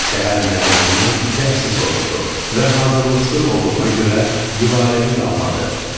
Səhər müəllim ondan dərsi soruşdu və hazırlıqsız olduğuna görə Gülarəni danladı.